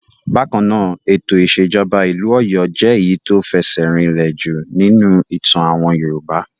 Bákan náà, ètò ìṣèjọba ìlú Ọ̀yọ́ jẹ́ èyí tí ó fẹsẹ̀ rinlẹ̀ jù nínú ìtàn àwọn Yorùbá.